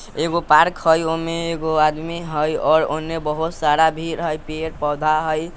एगो पार्क हई ओमे एगो आदमी हई और ओने बहुत सारा भीड़ हई पेड़ पौधा हई।